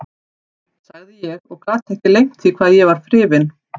sagði ég og gat ekki leynt því að ég var hrifinn.